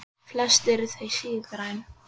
Flest eru þau sígræn.